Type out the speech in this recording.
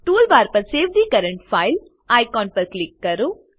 toolbar પર save the current file icon પર click કરો